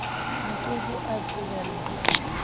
a ke ke a qobellwa